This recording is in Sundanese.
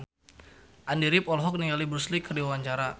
Andy rif olohok ningali Bruce Lee keur diwawancara